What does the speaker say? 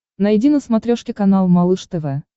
найди на смотрешке канал малыш тв